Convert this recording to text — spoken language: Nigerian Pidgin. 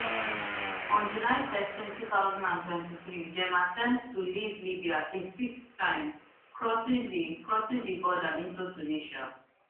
on july thirteen two thousand and twenty-three dem attempt to leave libya a sixth time crossing di crossing di border into tunisia